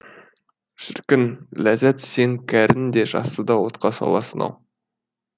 шіркін ләззат сен кәріні де жасты да отқа саласың ау